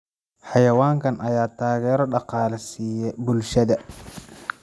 Xayawaankan ayaa taageero dhaqaale siiya bulshada.